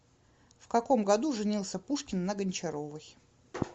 в каком году женился пушкин на гончаровой